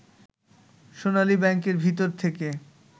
সোনালী ব্যাংকের ভিতর থেকে